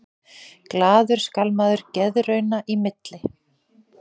Glaður skal maður geðrauna í milli.